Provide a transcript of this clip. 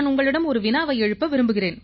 ஒரு வினா எழுப்ப விரும்புகிறேன்